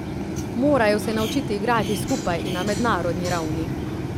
Morajo se naučiti igrati skupaj in na mednarodni ravni.